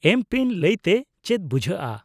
-ᱮᱢ ᱯᱤᱱ ᱞᱟᱹᱭᱛᱮ ᱪᱮᱫ ᱵᱩᱡᱷᱟᱹᱜᱼᱟ?